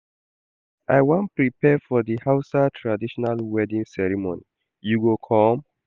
I wan prepare for di Hausa traditional wedding ceremony, you go come?